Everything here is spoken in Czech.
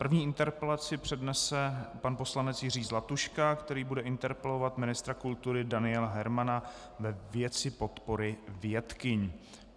První interpelaci přednese pan poslanec Jiří Zlatuška, který bude interpelovat ministra kultury Daniela Hermana ve věci podpory vědkyň.